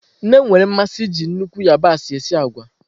Nne m nwere mmasị iji nnukwu yabasị esi agwa.